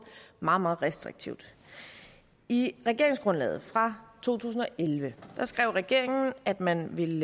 meget meget restriktivt i regeringsgrundlaget fra to tusind og elleve skrev regeringen at man ville